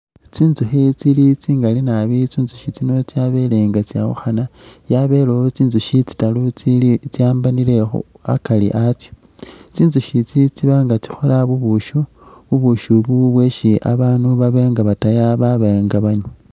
Tsinzukhi tsili tsingali nabi tsinzushi tsino tsabele nga tsawukhana. Yabelewo tsinzushi tsitaru tsilikhu tsiwambanile akari atsyo tsinzushi tsi tsibanga tsakhola ubushi, ubushi ubu bweshi babaandu baba nga bataya baba nga banywa.